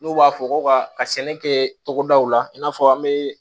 N'u b'a fɔ ko ka sɛnɛ kɛ togodaw la i n'a fɔ an bɛ